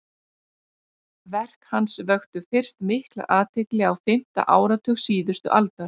verk hans vöktu fyrst mikla athygli á fimmta áratug síðustu aldar